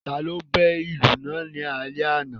Ta ló bẹ́ ìlù náà ni alẹ́ àná?